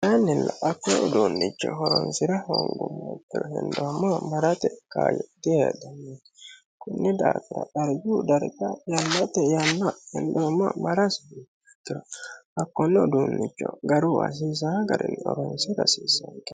aannilla hakkon uduunnicho horonsi'ra hongummo ikkiro hendoommowa marate kaayo diheedhanno konni daafira dargu darga yannate yanna hendoommowa marasi hakkonno uduunnicho garu asiisa garii oronsi rasiiseenge